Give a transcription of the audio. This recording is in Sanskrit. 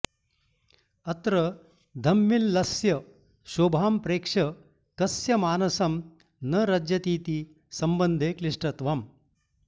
अत्र धम्मिल्लस्य शोभां प्रेक्ष्य कस्य मानसं न रज्यतीति सम्बन्धे क्लिष्टत्वम्